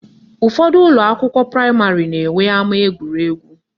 Ụfọdụ ụlọakwụkwọ praịmarị na-enwe ama egwuregwu